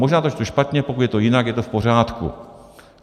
Možná to čtu špatně, pokud je to jinak, je to v pořádku.